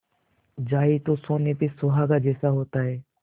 जाए तो सोने में सुहागा जैसा होता है